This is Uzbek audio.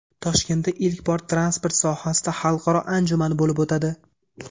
Toshkentda ilk bor transport sohasida xalqaro anjuman bo‘lib o‘tadi.